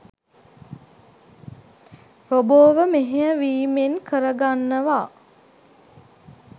රොබෝව මෙහෙය වීමෙන් කරගන්නවා.